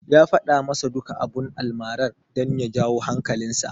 Ya faɗa masa duka abun almarar, don ya jawo hankalinsa.